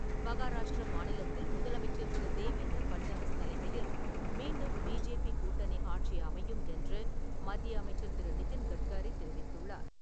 மகாராஷ்டிரா மாநிலத்தில் முதலமைச்சர் திரு. தேவேந்திர பட்னவிஸ் தலைமையில் மீண்டும் பி.ஜே.பி. கூட்டணி ஆட்சி அமையும் என்று மத்திய அமைச்சர் திரு. நிதின் கட்காரி தெரிவித்துள்ளார்.